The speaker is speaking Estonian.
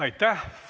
Aitäh!